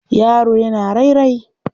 Yaro yana rarrae.